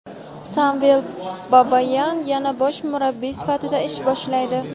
Samvel Babayan yana bosh murabbiy sifatida ish boshlaydi.